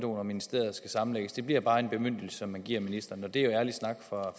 og ministeriet skal sammenlægges det bliver bare en bemyndigelse som man giver ministeren og det er jo ærlig snak fra